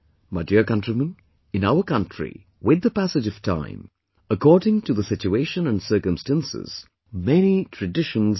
My dear countrymen, in our country, with the passage of time, according to the situation and circumstances, many traditions develop